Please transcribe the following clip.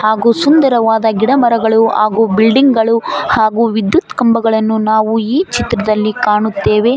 ಹಾಗೂ ಸುಂದರವಾದ ಗಿಡಮರಗಳು ಹಾಗೂ ಬಿಲ್ಡಿಂಗ್ ಗಳು ಹಾಗೂ ವಿದ್ಯುತ್ ಕಂಬಗಳನ್ನು ನಾವು ಈ ಚಿತ್ರದಲ್ಲಿ ಕಾಣುತ್ತೇವೆ.